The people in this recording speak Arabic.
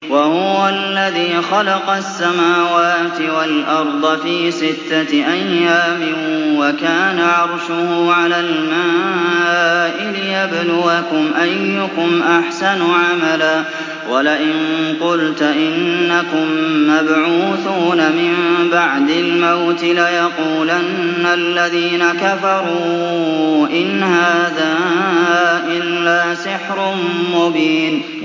وَهُوَ الَّذِي خَلَقَ السَّمَاوَاتِ وَالْأَرْضَ فِي سِتَّةِ أَيَّامٍ وَكَانَ عَرْشُهُ عَلَى الْمَاءِ لِيَبْلُوَكُمْ أَيُّكُمْ أَحْسَنُ عَمَلًا ۗ وَلَئِن قُلْتَ إِنَّكُم مَّبْعُوثُونَ مِن بَعْدِ الْمَوْتِ لَيَقُولَنَّ الَّذِينَ كَفَرُوا إِنْ هَٰذَا إِلَّا سِحْرٌ مُّبِينٌ